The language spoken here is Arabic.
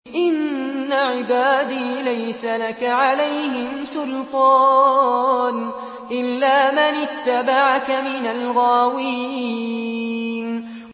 إِنَّ عِبَادِي لَيْسَ لَكَ عَلَيْهِمْ سُلْطَانٌ إِلَّا مَنِ اتَّبَعَكَ مِنَ الْغَاوِينَ